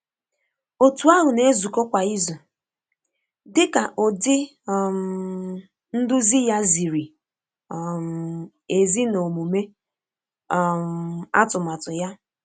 Otu ahụ na-ezukọ kwa izu, dịka ụdị um nduzi ya ziri um ezi na omume um atụmatụ ya